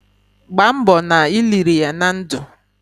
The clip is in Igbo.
Gbamgbo na i liri ya na ndu!